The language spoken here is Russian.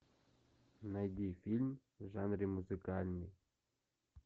найди фильм в жанре музыкальный